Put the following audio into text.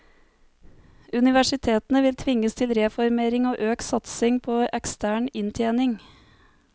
Universitetene vil tvinges til reformering og økt satsing på ekstern inntjening.